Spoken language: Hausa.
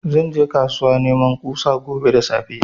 Zan je kasuwa neman kusa gobe da safe